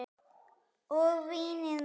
Og vínið maður!